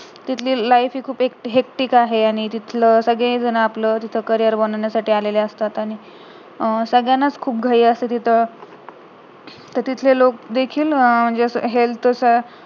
तिथली life हि खूप hectic आहे आणि तिथलं सांगडे जण आपलं carrier बनवण्यासाठी आले असतात आणि अं सगळ्यांनाच खूप घाई असते तिथं तर तिथले लोक देखील health च